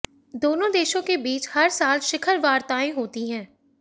दोनों देशों के बीच हर साल शिखर वार्ताएं होती हैं